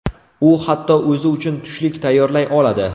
U hatto o‘zi uchun tushlik tayyorlay oladi.